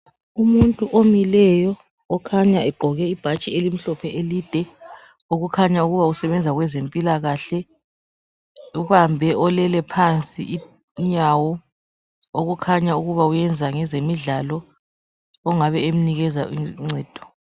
Umuntu omileyo okhanya egqoke ibhatshi elimhlophe elide okukhanya ukuba usebenza kwezempilakahle . Ubambe olele phansi inyawo okukhanya ukuba wenza ngezemidlalo ongabe emnikeza uncedo.